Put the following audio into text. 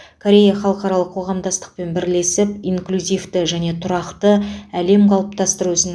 корея халықаралық қоғамдастықпен бірлесіп инклюзивті және тұрақты әлем қалыптастыру ісін